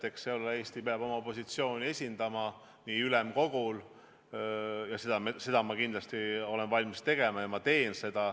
Eks Eesti peab seal oma positsiooni esindama ning seda olen ma ülemkogul kindlasti valmis tegema ja ka teen.